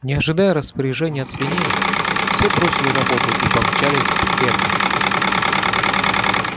не ожидая распоряжений от свиней все бросили работу и помчались к ферме